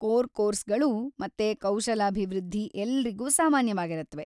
Core ಕೋರ್ಸುಗಳು ಮತ್ತೆ ಕೌಶಲಾಭಿವೃದ್ಧಿ ಎಲ್ರಿಗೂ ಸಾಮಾನ್ಯವಾಗಿರತ್ವೆ.